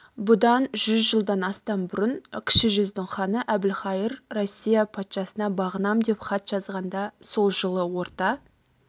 бұдан жүз жылдан астам бұрын кіші жүздің ханы әбілқайыр россия патшасына бағынам деп хат жазғанда сол жылы орта